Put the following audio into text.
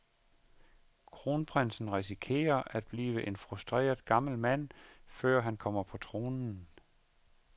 Kronprinsen risikerer at blive en frustreret gammel mand, før han kommer på tronen.